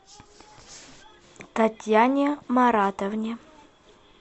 татьяне маратовне